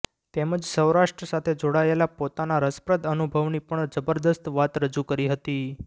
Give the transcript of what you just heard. તેમજ સોૈરાષ્ટ્ર સાથે જોડાયેલા પોતાના રસપ્રદ અનુભવની પણ જબરદસ્ત વાત રજૂ કરી હતી